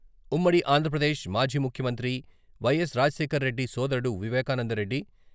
ఉమ్మడి ఆంధ్రప్రదేశ్ మాజీ ముఖ్యమంత్రి వై.ఎస్.రాజశేఖర్ రెడ్డి సోదరుడు వివేకానందరెడ్డి.